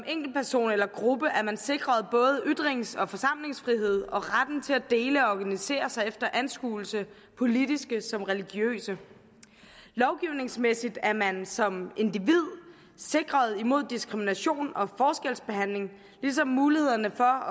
enkeltperson eller gruppe er man sikret både ytrings og forsamlingsfrihed og retten til at dele og organisere sig efter anskuelser politiske som religiøse lovgivningsmæssigt er man som individ sikret mod diskrimination og forskelsbehandling ligesom mulighederne for